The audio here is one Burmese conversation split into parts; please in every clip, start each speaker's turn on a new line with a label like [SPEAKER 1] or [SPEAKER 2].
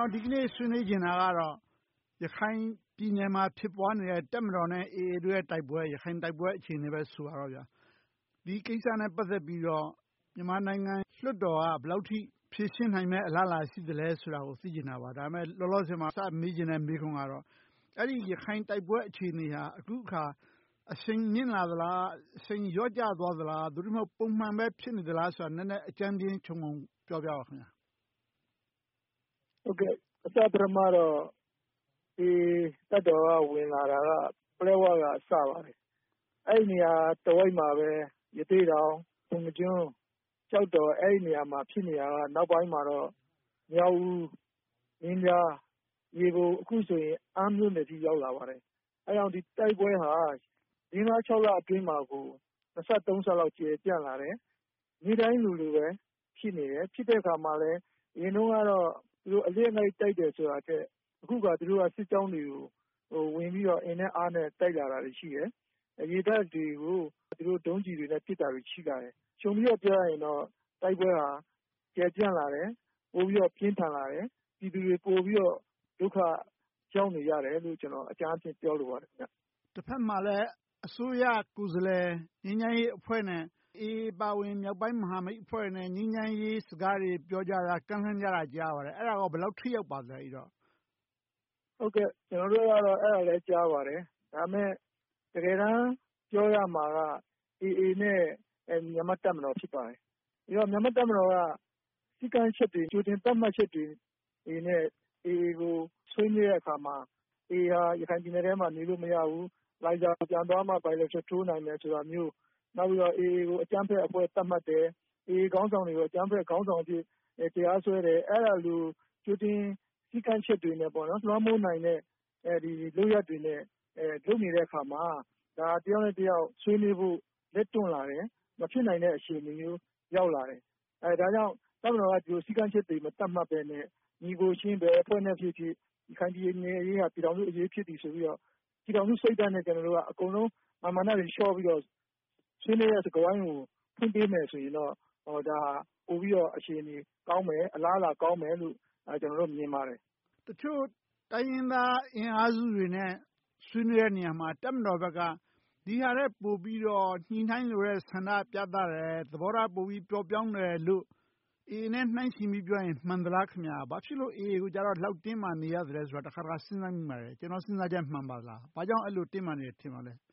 [SPEAKER 1] ော် ဒီနေ့ဆွေးနွေးချင်တာကတော့ ရခိုင်ပြည်နယ်မှာ ဖြစ်ပွားနေတဲ့ တပ်မတော်နဲ့ AA တို့ရဲ့ တိုက်ပွဲ အခြေအနေ ဖြစ်ပါတယ်။ ဒီကိစ္စနဲ့ ပတ်သက်ပြီး မြန်မာနိုင်ငံလွှတ်တော်က ဘယ်လောက်အထိ ဖြေရှင်းနိုင်မယ့် အလားအလာ ရှိသလဲဆိုတာကို သိချင်တာပါ။ ဒါပေမဲ့ လောလောဆယ်မှာ စပြီးမေးချင်တဲ့မေးခွန်းကတော့ အဲဒီရခိုင်တိုက်ပွဲအခြေအနေဟာ အခုအခါ အရှိန်မြင့်လာသလား။ အရှိန်လျော့ကျသွားသလား။ သို့တည်းမဟုတ် ပုံမှန်ပဲဖြစ်နေသလားဆိုတာကို နည်းနည်းအကြမ်းဖျဉ်းခြုံငုံပြောပြပေးပါ။
[SPEAKER 2] အစပထမမှာတော့ တပ်မတော်က ဝင်လာတာ ပလက်ဝဘက် စပါတယ်။ အဲဒီနေရာတဝိုက်မှာပဲ ရသေ့တောင်၊ ပုဏ္ဏားကျွန်း၊ ကျောက်တော်ဒေသတွေမှာ ဖြစ်နေတာကနေ နောက်ပိုင်းမှာတော့ မြောက်ဦး၊ မင်းပြား၊ မြေပုံ နဲ့ အခုဆိုရင် အမ်းမြို့နယ်အထိ ရောက်လာပါတယ်။ အဲဒါကြောင့် တိုက်ပွဲတွေဟာ လေးငါးခြောက်လအတွင်းမှာ နှစ်ဆသုံးဆလောက် ကျယ်ပြန့်လာတယ်။ နေ့တိုင်းလိုလို ဖြစ်နေတယ်။ ဖြစ်တဲ့အခါမှာလဲ အရင်တုန်းကတော့ - တိုက်တာထက်၊ အခုအခါ စစ်ကြောင်းတွေကို ဝင်ပြီးတော့ အင်နဲ့အားနဲ့ တိုက်လာတာတွေ ရှိတယ်။ ရေတပ်တွေကို ဒုံးကျည်းတွေနဲ့ ပစ်တာတွေ ရှိလာတယ်။ ခြုံပြီးတော့ပြောရရင်တော့ တိုက်ပွဲဟာ ကျယ်ပြန့်လာတယ်။ ပိုပြီးတော့ ပြင်းထန်လာတယ်။ ပြည်သူတွေ ပိုပြီးတော့ ဒုက္ခရောက်နေကြတယ်လို့ အကြမ်းအားဖြင့် ပြောလိုပါတယ်။
[SPEAKER 1] တဘက်မှာလဲ အစိုးရကိုယ်စားလှယ် ငြိမ်းချမ်းရေးအဖွဲ့နဲ့ အေအေ အပါအဝင် မြောက်ပိုင်းမဟာမိတ်အဖွဲ့တွေနဲ့ ငြိမ်းချမ်းရေးစကားတွေ ပြောကြတာကို ကြားရပါတယ်။ အဲဒါက ဘယ်လောက်အထိ ထိရောက်ပါသလဲ။
[SPEAKER 2] ကျနော်တို့လည်း အဲဒါကိုကြားပါတယ်။ ဒါပေမဲ့ တကယ်တမ်း ပြောရမှာက အေအေ နဲ့ မြန်မာ့တပ်မတော် ဖြစ်ပါတယ်။ ပြီးတော့ မြန်မာ့တပ်မတော်က စည်းကမ်းချက်တွေ ကြိုတင်သတ်မှတ်ချက်တွေနဲ့ အေအေကို ဆွေးနွေးတဲ့အခါမှာ အေအေဟာ ရခိုင်ပြည်နယ်အတွင်းမှာ နေလို့မရဘူး။ လိုင်းဇာကို ပြန်သွားမှ bilateral ထိုးနိုင်မယ် ဆိုတာမျိုး၊ နောက်ပြီးတော့ အေအေကို အကြမ်းဖက်အဖွဲ့အဖြစ် သတ်မှတ်တာမျိုး၊ အေအေခေါင်းဆောင်တွေကို အကြမ်းဖက်သမားတွေအဖြစ် တရားစွဲတယ် - အဲဒီလို ကြိုတင်စည်းကမ်းချက်တွေနဲ့ လွှမ်းမိုးနိုင်တဲ့ လုပ်ရပ်တွေနဲ့ လုပ်နေတဲ့အခါမှာ ဒါက တယောက်နဲ့တယောက် ဆွေးနွေးနိုင်ဖို့ လက်တွန့်လာတယ်။ မဖြစ်နိုင်တဲ့အခြေအနေမျိုး ရောက်လာတယ်။ ဒါကြောင့် တပ်မတော်က ဒီလိုစည်းကမ်းချက်တွေ ကြိုတင်မသတ်မှတ်ဘဲနဲ့ ညီအကိုချင်း ဘယ်အဖွဲ့နဲ့ဖြစ်ဖြစ် ရခိုင်ပြည်နယ်အရေးသည် ပြည်ထောင်စုအရေး ဖြစ်တယ်ဆိုပြီးတော့ ပြည်ထောင်စုစိတ်ဓါတ်နဲ့ ကျနော်တို့က မာန်မာနတွေ လျှော့ပြီးတော့ ဆွေးနွေးတဲ့စကားဝိုင်းကို ဖွင့်ပေးမယ်ဆိုရင်တော့ ဒါဟာ ပိုပြီးတော့ အခြေအနေကောင်းမယ်။ အလားအလာကောင်းမယ်လို့ မြင်ပါတယ်။
[SPEAKER 1] တချို့တိုင်းရင်းသားအင်အားစုတွေနဲ့ ဆွေးနွေးတဲ့နေရာမှာ တပ်မတော်ဘက်က ဒီဟာထက် ပိုပြီးတော့ ညှိနှိုင်းလိုတဲ့ဆန္ဒ ပြသတယ်။ သဘောထားပိုပြီးတော့ ပျော့ပျောင်းတယ်လို့ အေအေနဲ့ နှိုင်းယှဉ်ပြီး ပြောမယ်ဆိုရင် မှန်သလား။ ဘာဖြစ်လို့ အေအေကိုတော့ ဒီလောက်အထိ တင်းမာနေရသလဲဆိုတာကို တခါတခါ စဉ်းစားမိပါတယ်။ ကျနော့်စဉ်းစားချက် မှန်ပါသလား။ ဘာကြောင့် တပ်မတော်ဘက်က အဲဒီလောက် တင်းမာနေတယ် ထင်ပါသလဲ။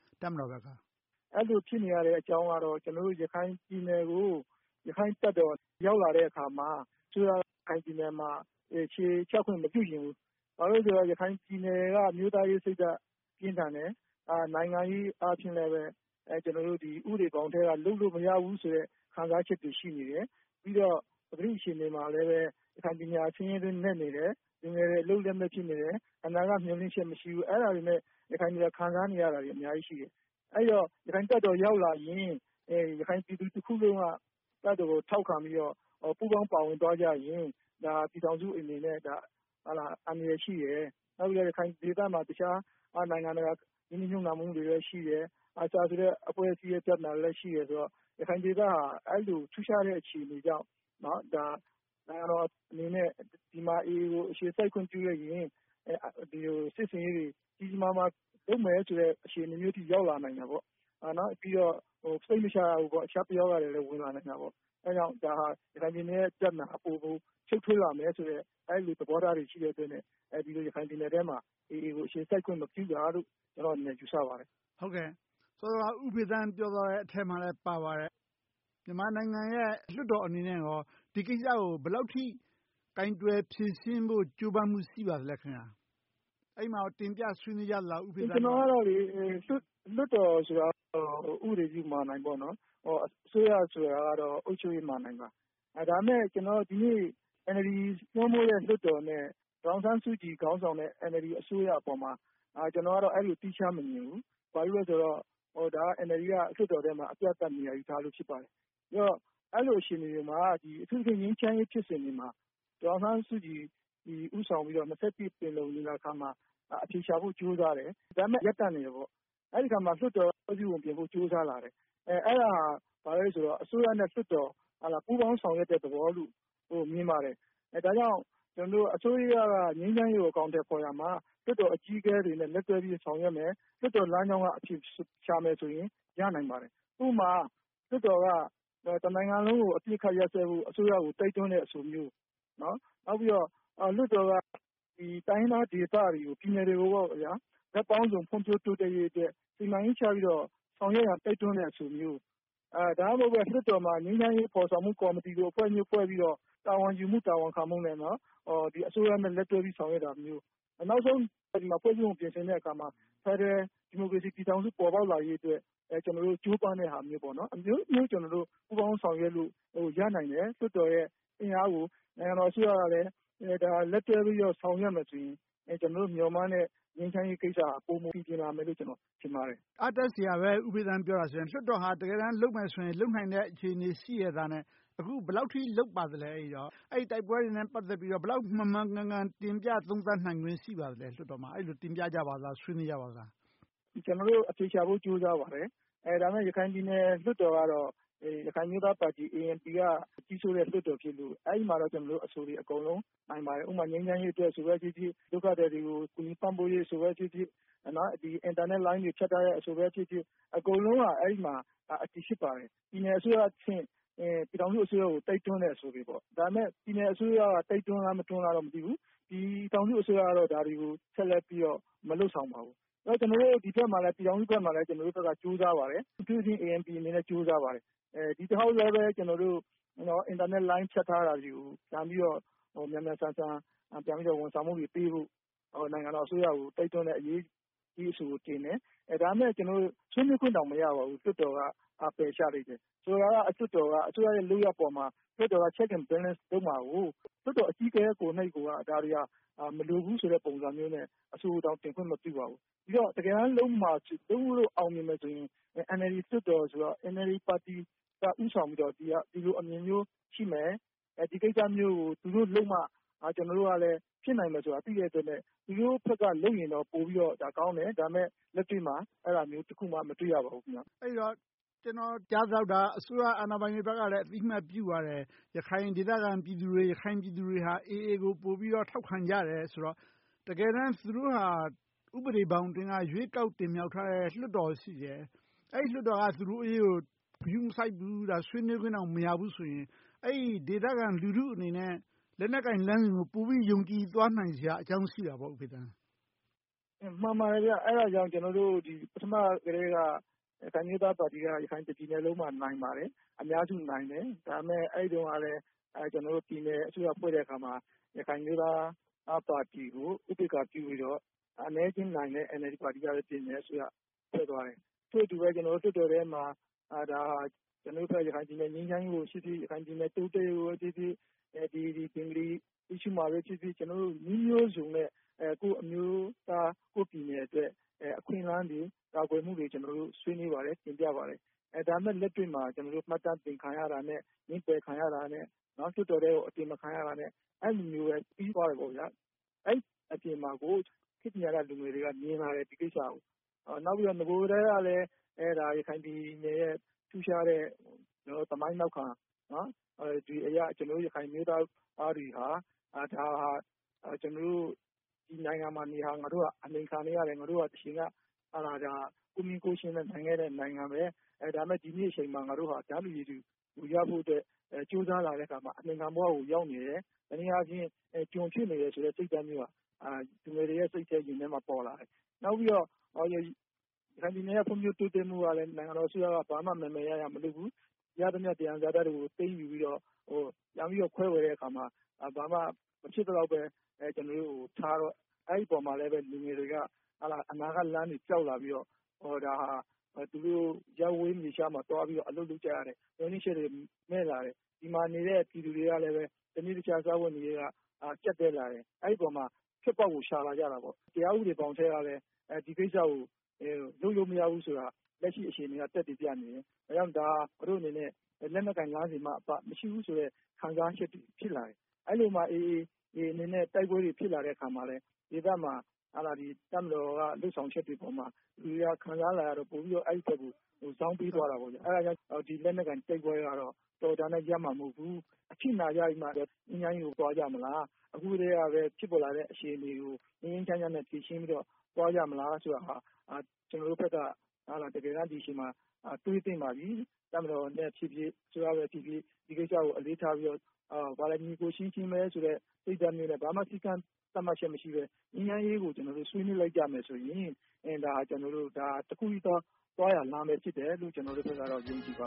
[SPEAKER 2] အဲဒီလို ဖြစ်နေရတဲ့အကြောင်းကတော့ ကျနော်တို့ ရခိုင်ပြည်နယ်ကို ရခိုင်တပ်တော် ရောက်လာတဲ့အခါမှာ အစိုးရက ရခိုင်ပြည်နယ်မှာ အခြေချခွင့် မပြုချင်ဘူး။ ဘာဖြစ်လို့လဲဆိုတော့ ရခိုင်ပြည်နယ်က အမျိုးသားရေးစိတ်ဓါတ် ပြင်းထန်တယ်။ နိုင်ငံရေးအားဖြင့်လဲ ဥပဒေဘောင်အတွင်းကနေ လုပ်လို့မရဘူးဆိုတဲ့ ခံစားချက်တွေ ရှိနေတယ်။ ပြီးတော့ ပကတိအခြေအနေမှာလဲ ရခိုင်ပြည်နယ်က ဆင်းရဲတွင်းနက်နေတယ်။ လူငယ်တွေ အလုပ်လက်မဲ့ ဖြစ်နေတယ်။ အနာဂတ်မျှော်လင့်ချက် မရှိဘူး။ အဲဒါတွေနဲ့ ရခိုင်တွေက ခံစားနေရတာတွေ အများကြီးရှိတယ်။ အဲဒီတော့ ရခိုင်တပ်တော် ရောက်လာရင် ရခိုင်ပြည်သူတွေက တပ်တော်ကို ထောက်ခံပြီးတော့ ပူးပေါင်းပါဝင်သွားကြရင် ပြည်ထောင်စုအနေနဲ့ အန္တရာယ်ရှိတယ်။ နောက်ပြီးတော့ ရခိုင်ဒေသမှာ တခြားနိုင်ငံတကာ ရင်းနှီးမြုပ်နံှမှုတွေရှိတယ်။ ARSA ဆိုတဲ့ အဖွဲ့အစည်း ပြဿနာလည်း ရှိတယ်ဆိုတော့ ရခိုင်ဒေသဟာ အဲဒီလို ထူးခြားတဲ့အခြေအနေကြောင့် နိုင်ငံတော်အနေနဲ့ ဒီဒေသမှာ အေအေကို အခြေစိုက်ခွင့် ပြုလိုက်ရင် ဒီလိုစစ်ဆင်ရေးတွေ ကြီးကြီးမားမား လုပ်မယ်ဆိုတဲ့ အခြေအနေမျိုးအထိ ရောက်လာနိုင်တာပေါ့။ ပြီးတော့ စိတ်မချရဘူး - တခြားပယောဂတွေလည်း ဝင်လာနိုင်တယ်။ အဲဒါကြောင့် ဒါဟာ ရခိုင်ပြည်နယ်ရဲ့ ပြဿနာအပေါ် ရှုပ်ထွေးလာမယ်ဆိုတဲ့ အဲဒီလို သဘောထားတွေ ရှိတဲ့အတွက် ရခိုင်ပြည်နယ်အတွင်းမှာ အေအေကို အခြေစိုက်ခွင့် မပြုတာလို့ ကျနော့်အနေနဲ့ ယူဆပါတယ်။
[SPEAKER 1] စောစောက ဦးဖေသန်း ပြောသွားတဲ့အထဲမှာလဲ ပါပါတယ်။ မြန်မာနိုင်ငံရဲ့ လွှတ်တော်အနေနဲ့ ဒီကိစ္စကို ဘယ်လောက်အထိ ကိုင်တွယ်ဖြေရှင်းဖို့ ကြိုးပမ်းမှု ရှိပါသလဲ။ အဲဒီမှာ တင်ပြဆွေးနွေးကြသလား။
[SPEAKER 2] လွှတ်တော်ဆိုတာ ဥပဒေပြုမဏ္ဍိုင် ဖြစ်တယ်။ အစိုးရဆိုတာတော့ အုပ်ချုပ်ရေးမဏ္ဍိုင်ပါ။ ဒါပေမဲ့ ဒီနေ့ NLD စိုးမိုးတဲ့ လွှတ်တော်နဲ့ ဒေါ်အောင်ဆန်းစုကြည်ခေါင်းဆောင်တဲ့ NLD အစိုးရအပေါ်မှာ အဲဒီလို သီးခြားမမြင်ဘူး။ ဘာဖြစ်လို့လဲဆိုတော့ NLD က လွှတ်တော်ထဲမှာ အပြတ်သတ် နေရာယူထားလို့ ဖြစ်ပါတယ်။ အဲဒီလိုအခြေအနေတွေမှာ အထူးသဖြင့် ငြိမ်းချမ်းရေးဖြစ်စဉ်တွေမှာ ဒေါ်အောင်ဆန်းစုကြည် ဦးဆောင်ပြီးတော့ ရာစု ပင်လုံညီလာခံမှာ အဖြေရှာဖို့ ကြိုးစားတယ်။ ဒါပေမဲ့ ရပ်တန့်နေတယ်။ အဲဒီအခါမှာ လွှတ်တော်က ဖွဲ့စည်းပုံပြင်ဖို့ ကြိုးစားလာတယ်။ အဲဒါက ဘာလဲဆိုတော့ အစိုးရနဲ့ လွှတ်တော်တို့ ပူးပေါင်းဆောင်ရွက်တဲ့ သဘောလို့ မြင်ပါတယ်။ ဒါကြောင့်မို့ အစိုးရက ငြိမ်းချမ်းရေးကို အကောင်အထည်ဖော်ရာမှာ လွှတ်တော်အကြီးအကဲတွေနဲ့ လက်တွဲပြီး ဆောင်ရွက်မယ်။ လွှတ်တော်လမ်းကြောင်းကနေ ရှာမယ်ဆိုရင် ရနိုင်ပါတယ်။ ဥပမာ လွှတ်တော်က တနိုင်ငံလုံးကို အပစ်အခတ်ရပ်စဲဖို့ အစိုးရကို တိုက်တွန်းတဲ့အဆိုမျိုး။ နောက်ပြီးတော့ လွှတ်တော်က တိုင်းရင်းသားဒေသတွေ၊ ပြည်နယ်တွေကို ဘက်ပေါင်းစုံဖွံ့ဖြိုးတိုးတက်ရေးအတွက် စီမံကိန်းချပြီးတော့ ဆောင်ရွက်ရန် တိုက်တွန်းတဲ့အဆိုမျိုး။ ဒါမှမဟုတ်ဘဲ လွှတ်တော်မှာ ငြိမ်းချမ်းရေးဖော်ဆောင်မှု ကော်မတီအဖွဲ့မျိုး ဖွဲ့ပြီးတော့ တာဝန်ယူမှု၊ တာဝန်ခံမှုနဲ့ အစိုးရနဲ့ လက်တွဲဆောင်ရွက်တာမျိုး။ နောက်ဆုံး ဖွဲ့စည်းပုံကို ပြင်ဆင်တဲ့အခါမှာ ဖယ်ဒရယ် ဒီမိုကရေစီ ပြည်ထောင်စု ပေါ်ပေါက်လာရေအတွက် ကြိုးပမ်းတဲ့ဟာမျိုးစသဖြင့် အမျိုးမျိုး ပူးပေါင်းဆောင်ရွက်လို့ရနိုင်တယ်။ လွှတ်တော်ရဲ့ အင်အားကို နိုင်ငံတော်အစိုးရကလည်း လက်တွဲပြီးတော့ ဆောင်ရွက်မယ်ဆိုရင် ကျနော်တို့ မျှော်မှန်းတဲ့ ငြိမ်းချမ်းရေးကိစ္စက ပိုမိုပီပြင်လာမယ်လို့ ထင်ပါတယ်။
[SPEAKER 1] အားတက်စရာပဲ ဦးဖေသန်း ပြောအရဆိုရင်။ လွှတ်တော်ဟာ တကယ်တမ်း လုပ်မယ်ဆိုရင် လုပ်နိုင်တဲ့ အခြေအနေရှိရက်သားနဲ့ အခု ဘယ်လောက်အထိ လုပ်ပါသလဲ။ တိုက်ပွဲတွေနဲ့ ပတ်သက်ပြီးတော့ လွှတ်တော်မှာ ဘယ်လောက်မှန်မှန်ကန်ကန် တင်ပြသုံးသပ်နိုင်ခွင့် ရှိပါသလဲ။ အဲဒီလို တင်ပြကြပါသလား။ ဆွေးနွေးကြပါသလား။
[SPEAKER 2] ကျနော်တို့ အဖြေရှာဖို့ ကြိုးစားကြပါတယ်။ ဒါပေမဲ့ ရခိုင်ပြည်နယ် လွှတ်တော်ကတော့ ရခိုင်အမျိုးသားပါတီ ANP က ကြီးစိုးတဲ့လွှတ်တော်ဖြစ်လို့ အဲဒီမှာတော့ အဆိုတွေ နိုင်ပါတယ်။ ဥပမာ ငြိမ်းချမ်းရေးအဆိုပဲဖြစ်ဖြစ်၊ ဒုက္ခသည်တွေကို ကူညီပံ့ပိုးရေးအဆိုပဲဖြစ်ဖြစ်၊ အင်တာနက်လိုင်းတွေ ဖြတ်တောက်ထားတဲ့အဆိုပဲဖြစ်ဖြစ် အကုန်လုံးက အဲဒီမှာ အတည်ဖြစ်ပါတယ်။ ပြည်နယ်အစိုးရအဆင့်၊ ပြည်ထောင်စုအစိုးရကို တိုက်တွန်းတဲ့အဆိုတွေပါ။ ဒါပေမဲ့ ပြည်နယ်အစိုးရက တိုက်တွန်းလား၊ မတိုက်တွန်းလား မသိဘူး။ ပြည်ထောင်စုအစိုးရကတော့ ဒါတွေကို ဆက်လက်ပြီးတော့ မလုပ်ဆောင်ပါဘူး။ ဒီဘက် ပြည်ထောင်စုဘက်မှာလဲ ကြိုးစားပါတယ်။ အထူးသဖြင့် ANP အနေနဲ့ ကြိုးစားပါတယ်။ ဒီတခေါက်လဲ ကျနော်တို့ အင်တာနက်လိုင်း ဖြတ်ထားတာတွေကို မြန်မြန်ဆန်ဆန် ဝန်ဆောင်မှုတွေပေးဖို့ နိုင်ငံတော်အစိုးရကို တိုက်တွန်းတဲ့ရေးအဆိုကို တင်ခဲ့တယ်။ ဒါပေမဲ့ ကျနော်တို့ ဆွေးနွေးခွင့်တောင် မရပါဘူး။ လွှတ်တော်က ပယ်ချလိုက်တယ်။ ဆိုတော့ လွှတ်တော်က အစိုးရရဲ့ လုပ်ရပ်အပေါ်မှာ လွှတ်တော်က Check and Balance လုပ်မှာကို လွှတ်တော်အကြီးအကဲကိုယ်တိုင်က ဒါတွေက မလိုဘူးဆိုတဲ့ပုံစံမျိုးနဲ့ အဆိုကိုတောင် တင်ခွင့်မပြုပါဘူး။ ဒီတော့ တကယ်တမ်း လုပ်မှာလုပ်လို့ အောင်မြင်မယ်ဆိုရင် NLD ပါတီက ဦးဆောင်ပြီးတော့ ဒီလိုအမြင်မျိုးရှိမယ်။ ဒီကိစ္စမျိုးကို သူတို့လုပ်မှ ကျနော်တို့ကလည်း ဖြစ်နိုင်မယ်ဆိုတာကို သိတဲ့အတွက် သူတို့ဘက်က လုပ်ရင်တော့ ပိုပြီးတော့ကောင်းတယ်။ ဒါပေမဲ့ လက်တွေ့မှာ အဲဒါမျိုးတခုမှ မတွေ့ရပါဘူး။
[SPEAKER 1] အဲဒီတော့ ကျနော်ကြားသလောက် အစိုးရအာဏာပိုင်တွေဘက်ကလည်း အသိအမှတ်ပြုပါတယ်။ ရခိုင်ဒေသခံပြည်သူတွေဟာ အေအေကို ပိုပြီးတော့ ထောက်ခံကြတယ်ဆိုတော့ တကယ်တမ်း သူတို့ဟာ ဥပဒေဘောင်အတွင်းက ရွေးကောက်တင်မြှောက်ထားတဲ့ လွှတ်တော်ရှိတယ်။ အဲဒီလွှတ်တော်က သူတို့အရေးကို ဂရုမစိုက်ဘူး။ ဆွေးနွေးခွင့်တောင် မရဘူးဆိုရင် အဲဒီဒေသခံ လူထုအနေနဲ့ လက်နက်ကိုင်လမ်းစဉ်ကို ပိုပြီးယုံကြည်သွားစရာအကြောင်း ရှိတာပေါ့။
[SPEAKER 2] မှန်ပါတယ်။ အဲဒါကြောင့် ကျနော်တို့ ပထမကတည်းက ရခိုင်အမျိုးသားပါတီက တပြည်နယ်လုံးမှာ နိုင်ပါတယ်။ အများစုနိုင်တယ်။ ဒါပေမဲ့ အဲဒီတုန်းကလဲ ကျနော်တို့ ပြည်နယ်အစိုးရဖွဲ့တဲ့အခါမှာ ရခိုင်အမျိုးသားပါတီကို ဥပက္ခာပြုပြီးတော့ အနည်းအကျဉ်းနိုင်တဲ့ NLD ပါတီကပဲ အစိုးရဖွဲ့သွားတယ်။ ထို့အတူပဲ လွှတ်တော်ထဲမှာ ရခိုင်ပြည်နယ် ငြိမ်းချမ်းရေးကိုဖြစ်ဖြစ်၊ ရခိုင်ပြည်နယ် တိုးတက်ရေးကိုဖြစ်ဖြစ်၊ ဘင်္ဂလီပြဿနာပဲဖြစ်ဖြစ် - ကျနော်တို့ နည်းမျိုးစုံနဲ့ ကိုယ့်အမျိုးသား ကိုယ့်ပြည်နယ်အတွက် အခွင့်အလမ်းတွေ ကာကွယ်မှုတွေ ဆွေးနွေးပါတယ်။ တင်ပြပါတယ်။ ဒါပေမဲ့ လက်တွေ့မှာ မှတ်တမ်းတင်ခံရတာနဲ့ ငြင်းပယ်ခံရတာနဲ့ လွှတ်တော်ထဲကို အတင်မခံရတာနဲ့ အဲဒီလိုနဲ့ပဲ ပြီသွားခဲ့တယ်။ အဲဒီအပြင်မှာ ခေတ်ပညာတတ်လူငယ်တွေက ဒီကိစ္စတွေကို မြင်ပါတယ်။ နောက်ပြီးတော့ နဂိုကတည်းက ရခိုင်ပြည်နယ်ရဲ့ ထူးခြားတဲ့ သမိုင်းနောက်ခံအရ ကျနော်တို့ ရခိုင်ပြည်နယ်သားတွေဟာ ဒါဟာ ကျနော်တို့ ဒီနိုင်ငံမှာနေတာ ငါတို့ အနှိမ်ခံနေရတယ်။ တချိန်က ငါတို့ဟာ ကိုယ့်မင်းကိုယ့်ချင်းနဲ့ နေခဲ့တဲ့နိုင်ငံ။ ဒါပေမဲ့ ဒီနေ့အချိန်မှာ ငါတို့ဟာ တန်းတူရည်တူ ရဖို့အတွက် ကြိုးစားလာတဲ့အခါမှာ အနှိမ်ခံဘဝကို ရောက်နေတယ်။ တနည်းအားဖြင့် ကျွန်ဖြစ်နေတယ်ဆိုတဲ့ စိတ်ဓါတ်မျိုးဟာ လူငယ်တွေစိတ်ထဲ၊ ရင်ထဲမှာ ပေါ်လာတယ်။ နောက်ပြီးတော့ ရခိုင်ပြည်နယ် ဖွံ့ဖြိုးတိုးတက်မှုကလည်း နိုင်ငံတော်အစိုးရက ဘာမှမယ်မယ်ရရ မလုပ်ဘူး။ ရသမျှ သယံဇာတတွေကို သိမ်းယူပြီးတော့ ပြန်ပြီးတော့ ခွဲဝေတဲ့အခါမှာ ဘာမှမဖြစ်သလောက်ပဲ ကျနော်တို့ကို ပေးထားတော့ အဲဒီအပေါ်မှာလည်း လူငယ်တွေက အနာဂတ်လမ်းတွေ ပျောက်လာပြီးတော့ ဒါဟာ သူတို့ရပ်ဝေးမြေခြားမှာ သွားပြီးတော့ အလုပ်လုပ်ကြရတယ်။ မျှော်လင့်ချက်တွေ မဲ့လာတယ်။ ဒီမှာနေတဲ့ ပြည်သူတွေကလည်း တနေ့တခြား စားဝတ်နေရေးက ကျပ်တည်းလာတယ်။ အဲဒီအပေါ်မှာ ထွက်ပေါက်ကို ရှာလာကြတယ်။ တရားဥပဒေဘောင်အတွင်းကပဲ ဒီကိစ္စကို လုပ်လို့မရဘူးဆိုတာ လက်ရှိအခြေအနေက သက်သေပြနေတယ်။ ဒါကြောင့် ဒါဟာ သူတို့အနေနဲ့ လက်နက်ကိုင်လမ်းစဉ်မှအပ မရှိဘူးဆိုတဲ့ ခံစားချက်တွေ ဖြစ်လာတယ်။ အဲဒီလိုနဲ့ အေအေအနေနဲ့ တိုက်ပွဲတွေ ဖြစ်လာတဲ့အခါမှာလဲ ဒေသမှာ တပ်မတော်ရဲ့ လုပ်ဆောင်ချက်တွေအပေါ်မှာ လူတွေက ပိုခံစားလာရပြီး အဲဒီအပေါ် ပိုဇောင်းပေးသွားကြတယ်။ အဲဒါကြောင့် ဒီလက်နက်ကိုင်တိုက်ပွဲတွေကတော့ တော်ရုံတန်ရုံနဲ့ ရပ်မှာမဟုတ်ဘူး။ အထိနာကြပြီးမှ ငြိမ်းချမ်းရေးကို သွားကြမလား။ အခုကတည်းက ဖြစ်ပေါ်လာတဲ့ အခြေအနေကို ငြိမ်းငြိမ်းချမ်းချမ်းနဲ့ ဖြေရှင်းပြီးတော့ သွားကြမလားဆိုတာဟာ ကျနော်တို့ဘက် ဒီအချိန်မှာ တွေးသင့်ပါပြီ။ တပ်မတော်ဖြစ်ဖြစ်၊ အစိုးရဖြစ်ဖြစ် ဒီကိစ္စကို အလေးထားပြီးတော့ ညီအကိုအချင်းချင်းပဲဆိုတဲ့ စိတ်ဓါတ်မျိုးနဲ့ ဘာမှစည်းကမ်းသတ်မှတ်ချက်တွေ မရှိဘဲ ငြိမ်းချမ်းရေးကို ဆွေးနွေးလိုက်ကြမယ်ဆိုရင် ဒါက တခုတည်းသော သွားရလမ်း ဖြစ်တယ်လို့ ကျနော်တို့ဘက်က ယုံကြည်ပါ